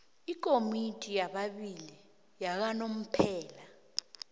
ikomiti yababili yakanomphela